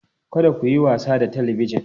Kada ku yi wasa da Talabijin!